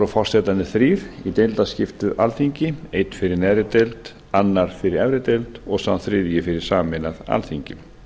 voru forsetarnir þrír í deildaskiptu alþingi einn fyrir neðri deild annar fyrir efri deild og sá þriðji fyrir sameinað alþingi